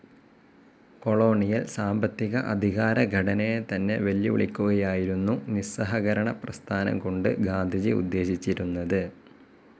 Colonial സാമ്പത്തിക, അധികാര ഘടനയെതന്നെ വെല്ലുവിളിക്കുകയായിരുന്നു നിസ്സഹകരണപ്രസ്ഥാനം കൊണ്ട് ഗാന്ധിജി ഉദ്ദേശിച്ചിരുന്നത്.